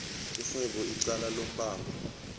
igwebe icala lombango